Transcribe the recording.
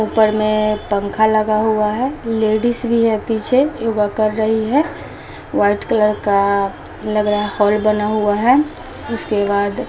ऊपर में पंखा लगा हुआ है लेडीज भी है पीछे योगा कर रही है वाइट कलर का लग रहा हॉल बना हुआ है उसके बाद--